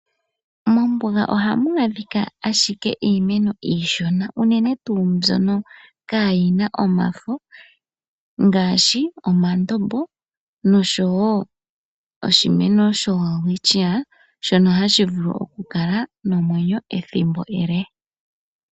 Mombuga ohamu adhika ashike iimeno iishona, unene tuu mbyono kaayina omafo, ngaashi omandombo nosho wo oshimeno sho welwitschia shono hashi vulu oku kala nomwenyo ethimbo ele inaashi mona omeya.